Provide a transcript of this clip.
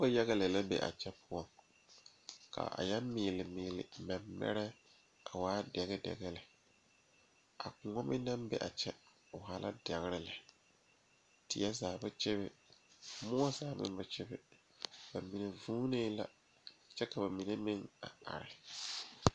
Noba yaga lɛ la be a kyɛ pɔgeba bayi la a laŋ zeŋ a dɔɔ kaŋ naŋ seɛ traza pelaa pegle la gane o nu poɔ ane magdalee a pɔge kaŋa meŋ zeŋ la koo niŋe soga ba saa kyɛ kaa dɔɔ kaŋa ane a pɔge ka bamine meŋ a are.